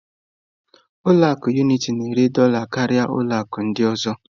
Ụlọ akụ Unitị na-ere dola karịa ụlọ akụ ọ ndị ọzọ.